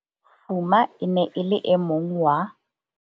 Fuma e ne e le e mong wa.